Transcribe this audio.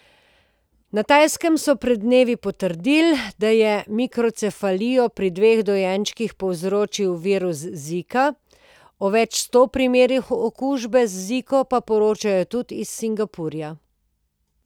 Na Tajskem so pred dnevi potrdili, da je mikrocefalijo pri dveh dojenčkih povzročil virus zika, o več sto primerih okužbe z ziko pa poročajo tudi iz Singapurja.